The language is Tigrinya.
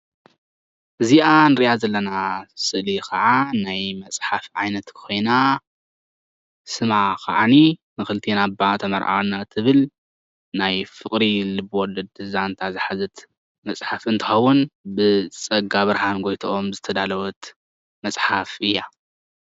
እዚ ምስሊ ልቢ ወለድ መፅሓፍ ኮይኑ ብ ፀጋብርሃን ጎይተኦም ከዓ ተደሪሳ።